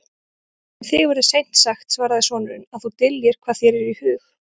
Um þig verður seint sagt, svaraði sonurinn,-að þú dyljir hvað þér er í hug.